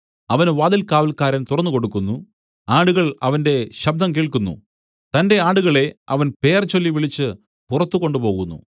അവന് വാതിൽകാവല്ക്കാരൻ തുറന്നുകൊടുക്കുന്നു ആടുകൾ അവന്റെ ശബ്ദം കേൾക്കുന്നു തന്റെ ആടുകളെ അവൻ പേർചൊല്ലി വിളിച്ചു പുറത്തു കൊണ്ടുപോകുന്നു